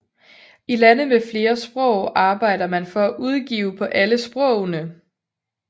I lande med flere sprog arbejder man for at udgive på alle sprogene